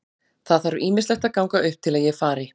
Það þarf ýmislegt að ganga upp til að ég fari.